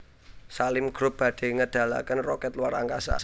Salim Group badhe ngedalaken roket luar angkasa